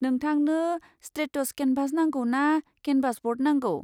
नोंथांनो straightest canvas नांगौ ना केनभास ब'र्ड नांगौ?